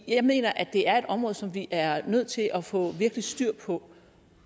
jeg mener at det er et område som vi er nødt til at få virkelig styr på